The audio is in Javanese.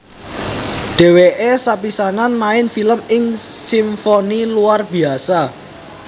Dheweke sepisanan main film ing Simfoni Luar Biasa